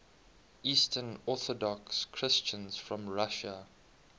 eastern orthodox christians from russia